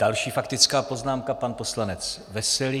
Další faktická poznámka, pan poslanec Veselý.